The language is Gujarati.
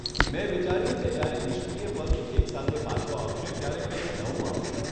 મેં વિચાર્યું કે જ્યારે નિષ્ક્રિય પક્ષ એક સાથે પાછો આવશે ત્યારે કંઈક નવું આવશે...